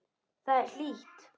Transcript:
Þar er hlýtt.